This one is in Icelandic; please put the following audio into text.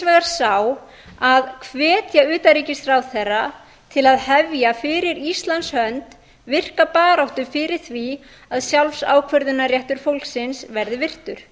vegar sá að hvetja utanríkisráðherra til að hefja fyrir íslands hönd virka baráttu fyrir því að sjálfsákvörðunarréttur fólksins verði virtur